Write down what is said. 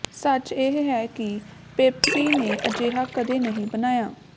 ਸੱਚ ਇਹ ਹੈ ਕਿ ਪੈਪਸੀ ਨੇ ਅਜਿਹਾ ਕਦੀ ਨਹੀਂ ਬਣਾਇਆ